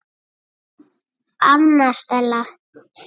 Anna Stella.